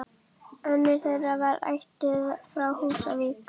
Önnur þeirra var ættuð frá Húsavík.